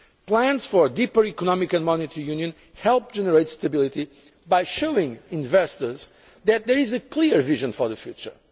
Plans for deeper economic and monetary union help generate stability by showing investors that there is a clear vision for the